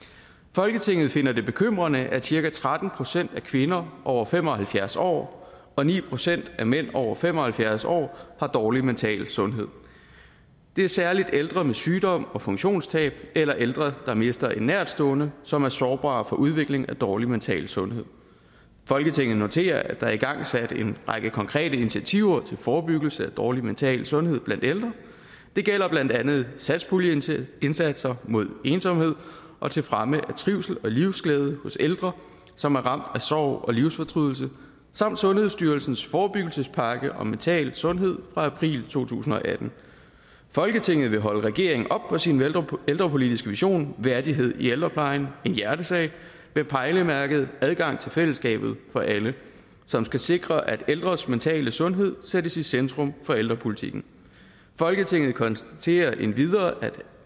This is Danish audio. folketinget finder det bekymrende at cirka tretten procent af kvinder over fem og halvfjerds år og ni procent af mænd over fem og halvfjerds år har dårlig mental sundhed det er særligt ældre med sygdom og funktionstab eller ældre der mister en nærtstående som er sårbare over for udvikling af dårlig mental sundhed folketinget noterer at der er igangsat en række konkrete initiativer til forebyggelse af dårlig mental sundhed blandt ældre det gælder blandt andet satspuljeindsatser mod ensomhed og til fremme af trivsel og livsglæde hos ældre som er ramt af sorg og livsfortrydelse samt sundhedsstyrelsens forebyggelsespakke om mental sundhed fra april to tusind og atten folketinget vil holde regeringen op på sin ældrepolitiske vision værdighed i ældreplejen en hjertesag med pejlemærket adgang til fællesskabet for alle som skal sikre at ældres mentale sundhed sættes i centrum for ældrepolitikken folketinget konstaterer endvidere at